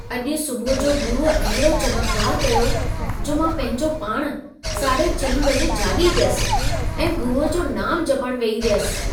अॼु सुबुह जो गुरुअ अहिड़ो चमत्कार कयो, जो मां पंहिंजो पाण 04ः30 बजे जाॻी वियसि ऐं गुरुअ जो नाम जपण वेही रहियसि।